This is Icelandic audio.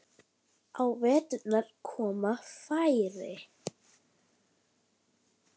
Á veturna koma færri.